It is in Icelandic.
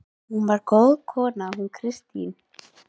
Hún var svo góð kona hún Kristín.